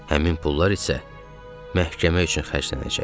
Həmin pullar isə məhkəmə üçün xərclənəcəkdi.